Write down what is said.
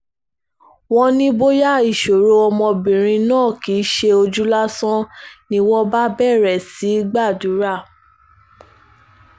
wọ́n ní bóyá ìṣòro ọmọbìnrin náà kì í ṣe ojú lásán ni wọ́n bá bẹ̀rẹ̀ sí í gbàdúrà